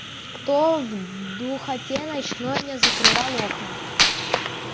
кто в духоте ночной не закрывал окна